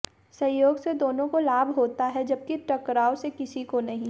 सहयोग से दोनों को लाभ होता है जबकि टकराव से किसी को नहीं